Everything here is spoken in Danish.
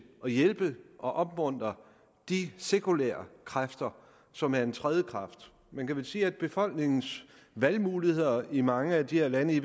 at hjælpe og opmuntre de sekulære kræfter som er en tredje kraft man kan vel sige at befolkningens valgmuligheder i mange af de her lande i